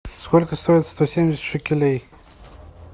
сколько стоит сто семьдесят шекелей